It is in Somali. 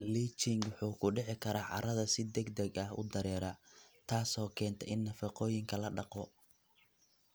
Leaching wuxuu ku dhici karaa carrada si degdeg ah u dareera, taasoo keenta in nafaqooyinka la dhaqo.